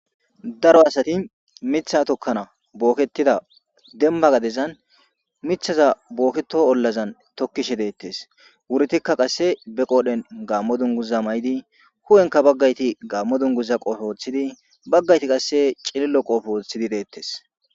Daro asati mitha tokkana booketida denimba gadezan mithaza booketo ollazan tokkishe deettes wurtikka qasse be qoodhen gaammo duniguza may'idi hu'enka baggayti gaammo duniguza qoofe othidi baggayti qasse cilillo qodhe oothidi deettes